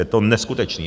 Je to neskutečné!